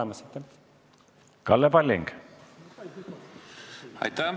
Aitäh!